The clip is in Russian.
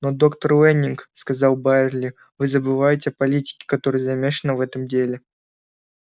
но доктор лэннинг сказал байерли вы забываете о политике которая замешана в этом деле